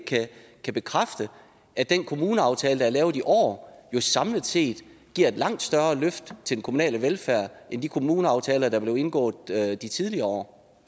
kan bekræfte at den kommuneaftale der er lavet i år jo samlet set giver et langt større løft til den kommunale velfærd end de kommuneaftaler der blev indgået i tidligere år